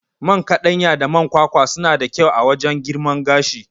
Man kaɗanya da man kwakwa suna da kyau wajan girman gashi